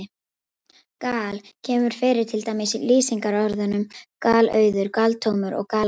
Gal- kemur fyrir til dæmis í lýsingarorðunum galauður, galtómur og galopinn.